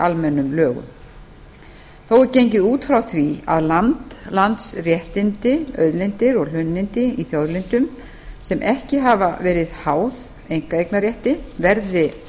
almennum lögum þó er gengið út frá því að land landsréttindi auðlindir og hlunnindi í þjóðlendum sem ekki hafa verið háð einkaeignarrétti verði